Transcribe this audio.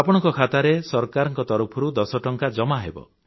ଆପଣଙ୍କ ଖାତାରେ ସରକାରଙ୍କ ତରଫରୁ ୧୦ ଟଙ୍କା ଜମାହେବ